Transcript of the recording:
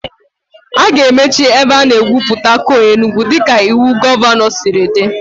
A ga-emechi ebe a na-egwupụta coal Enugwu dịka iwu gọvanọ siri dị